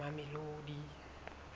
mamelodi